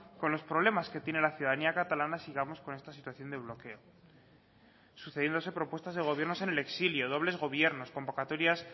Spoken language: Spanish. con los problemas que tiene la ciudadanía catalana sigamos con esta situación de bloqueo y sucediéndose propuestas de gobiernos en el exilio dobles gobiernos convocatorias